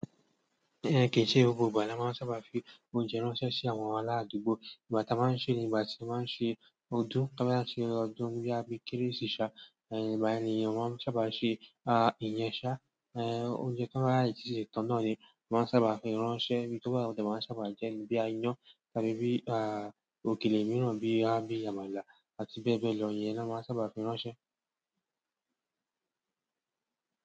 Eh, kẹ ṣẹ gbogbo ìgbà la máà ń sábà fi oúnjẹ ránṣẹ́ sí àwọn àrà àdùgbò. Ìgbà tí a máa ń ṣe ni ìgbà tí a máa ń ṣe ọdún. Tì àbà ń ṣẹ ọdún bíi Kérésì ṣà ẹ, ìgbà nì èyàn máa ń sábà ṣe, ah, ìyẹn ṣà, ẹè, oúnjẹ tọbà sè tọ̀ nà ni a máa ń sábà fi ránṣẹ́, bí tó bá yẹ wọ́n máa ń sábà jẹ́ bíi ìyán, tàbí bí, ah, òkèlè mìíràn bíi, à, bíi àmàlà àti bẹ́ẹ̀ bẹ́ẹ̀ lọ, ìyẹn ni a máa ń sábà fi ránṣẹ́.